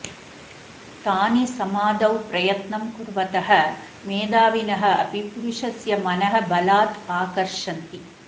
तानि समाधौ प्रयत्नं कुर्वतः मेधाविनः अपि पुरुषस्य मनः बलात् आकर्षन्ति